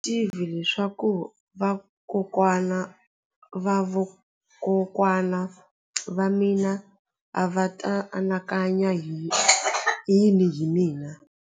A ndzi tivi leswaku vakokwana-va-vakokwana va mina a va ta anakanya yini hi mina.